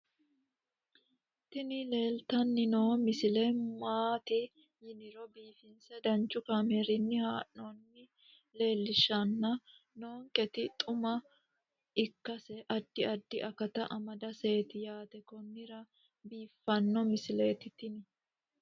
tini leeltanni noo misile maaati yiniro biifinse danchu kaamerinni haa'noonnita leellishshanni nonketi xuma ikkase addi addi akata amadaseeti yaate konnira biiffanno misileeti tini